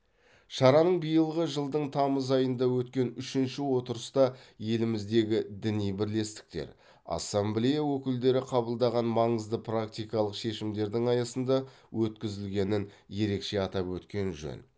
шараның биылғы жылдың тамыз айында өткен үшінші отырыста еліміздегі діни бірлестіктер ассамблея өкілдері қабылдаған маңызды практикалық шешімдердің аясында өткізілгенін ерекше атап өткен жөн